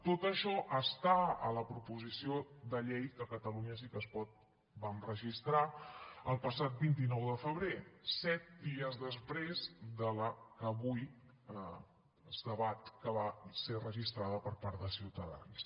tot això està a la proposició de llei que catalunya sí que es pot vam registrar el passat vint nou de febrer set dies després de la que avui es debat que va ser registrada per part de ciutadans